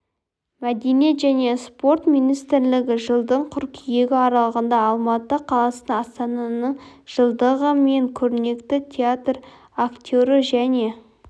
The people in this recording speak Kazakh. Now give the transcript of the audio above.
мәдениет және спорт министрлігі жылдың қыркүйегі аралығында алматы қаласында астананың жылдығы мен көрнекті театр актері және